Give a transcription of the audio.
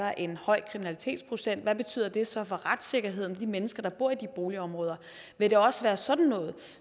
er en høj kriminalitetsrate hvad betyder det så for retssikkerheden for de mennesker der bor i de boligområder vil det også være sådan noget